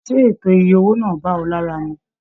Ṣe ètò ìyè owó náà bá ọ lára mú?